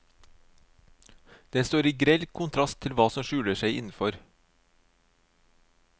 Den står i grell kontrast til hva som skjuler seg innenfor.